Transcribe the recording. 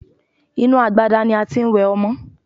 Inú agbada ni a tí ń wẹ ọmọ.